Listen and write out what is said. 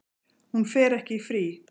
Hún fer ekki í frí.